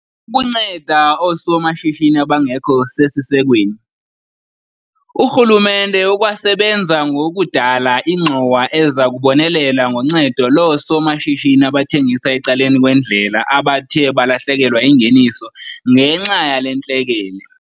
Ukunceda oosomashishini abangekho sesisekweni. Urhulumente ukwasebenza ngokudala ingxowa eza kubonelela ngoncedo loosomashishini abathengisa ecaleni kwendlela abathe balahlekelwa yingeniso ngenxa yale ntlekele.